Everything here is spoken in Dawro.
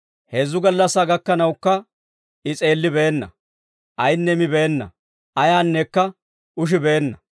Heezzu gallassaa gakkanawukka I s'eellibeenna; ayinne mibeenna; ayaanneekka ushibeenna.